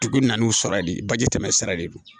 Dugu nan'u sɔrɔ ye baji tɛmɛn sira de don